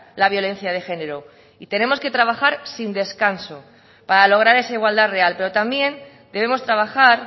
la violencia de género y tenemos que trabajar sin descanso para lograr esa igualdad real pero también debemos trabajar